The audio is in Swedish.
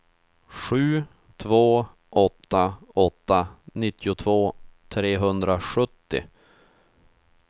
sju två åtta åtta nittiotvå trehundrasjuttio